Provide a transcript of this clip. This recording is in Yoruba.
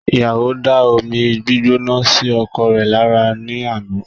Ìyàwó da omi gbígbóná sí ọkọ rẹ̀ lára ní àná